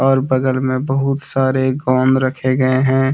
और बगल में बहुत सारे गम रखे गए हैं।